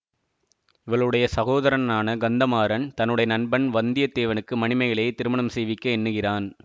இவளுடைய சகோதரனான கந்த மாறன் தன்னுடைய நண்பன் வந்தியத்தேவனுக்கு மணிமேகலையைத் திருமணம் செய்விக்க எண்ணுகிறான்